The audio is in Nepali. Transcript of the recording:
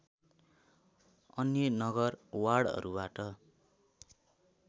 अन्य नगर वार्डहरूबाट